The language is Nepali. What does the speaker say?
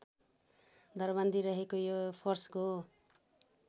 दरबन्दी रहेको यो फोर्सको